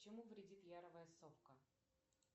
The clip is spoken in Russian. чему вредит яровая совка